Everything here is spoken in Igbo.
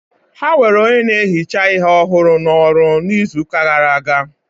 Ha were onye na-ehicha ihe ọhụrụ n'ọrụ n'izu gara aga